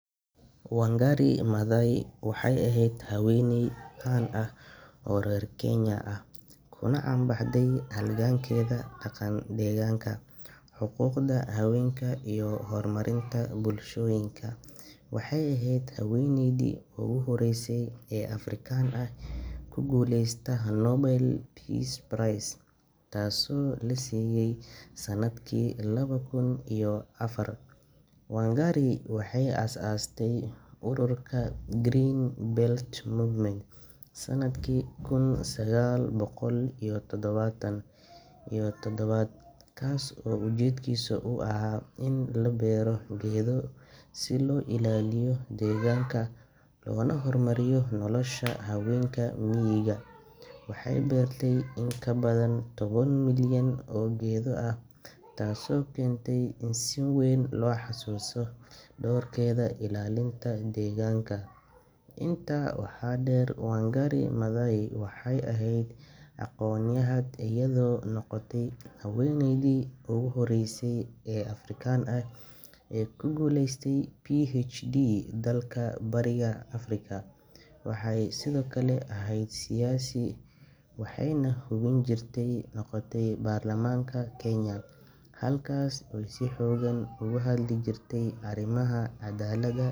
Wangari Maathai waxay ahayd haweeney caan ah oo reer Kenya ah, kuna caan baxday halgankeeda dhanka deegaanka, xuquuqda haweenka, iyo horumarinta bulshooyinka. Waxay ahayd haweeneydii ugu horreysay ee Afrikaan ah ee ku guuleysata Nobel Peace Prize, taasoo la siiyay sanadkii laba kun iyo afar. Wangari waxay aasaastay ururka Green Belt Movement sanadkii kun sagaal boqol iyo toddobaatan iyo toddoba, kaas oo ujeedkiisu ahaa in la beero geedo si loo ilaaliyo deegaanka loona horumariyo nolosha haweenka miyiga. Waxay beertay in ka badan toban milyan oo geedo ah, taasoo keentay in si weyn loo xasuusto doorkeeda ilaalinta deegaanka. Intaa waxaa dheer, Wangari Maathai waxay ahayd aqoonyahanad, iyadoo noqotay haweeneydii ugu horreysay ee Afrikaan ah ee ku guuleysata PhD dalka Bariga Afrika. Waxay sidoo kale ahayd siyaasi, waxayna xubin ka noqotay baarlamaanka Kenya, halkaas oo ay si xooggan uga hadli jirtay arrimaha cadaaladda.